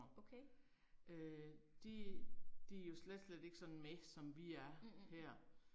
Okay. Mhmh